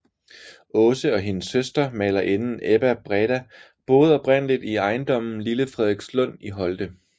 Aase og hendes søster malerinden Ebba Breda boede oprindeligt i ejendommen Lille Frederikslund i Holte